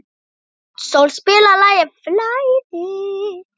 Náttsól, spilaðu lagið „Flæði“.